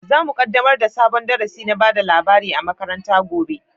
Zamu kaddamar da sabon darasi na bada labari a makaranta gobe